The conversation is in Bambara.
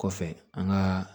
Kɔfɛ an ka